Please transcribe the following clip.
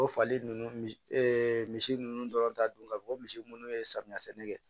O fali ninnu misi misi ninnu dɔrɔn ta don ka fɔ ko misi munnu ye samiya sɛnɛ kɛ